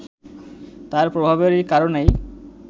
তার প্রভাবের কারণেই